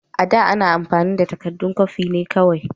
A da, ana amfani da takaddun kwafi ne kawai.